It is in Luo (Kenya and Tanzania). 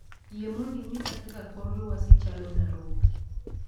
Yie mondo inyisa kaka kor lwasi chalo e Nairobi